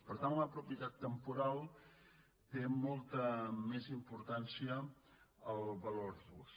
per tant en la propietat temporal té molta més importància el valor d’ús